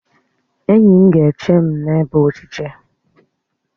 Enyi m ga-eche m n'ebe ochiche